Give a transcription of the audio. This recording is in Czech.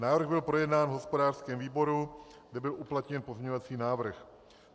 Návrh byl projednán v hospodářském výboru, kde byl uplatněn pozměňovací návrh.